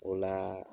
O la